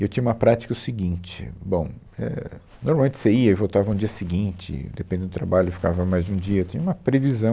E eu tinha uma prática o seguinte, bom, é, normalmente você ia e voltava no dia seguinte, dependendo do trabalho, ficava mais de um dia, tinha uma previsão